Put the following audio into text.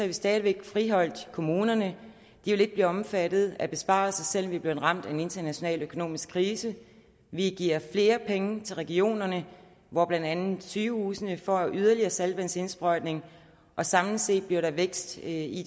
vi stadig væk friholdt kommunerne de vil ikke blive omfattet af besparelser selv om vi er blevet ramt af en international økonomisk krise vi giver flere penge til regionerne hvor blandt andet sygehusene får en yderligere saltvandsindsprøjtning og samlet set bliver der vækst i